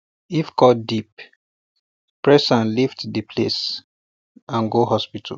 if cut deep press am lift the place and go hospital